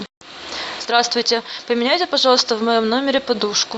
здравствуйте поменяйте пожалуйста в моем номере подушку